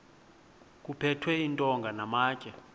kuphethwe iintonga namatye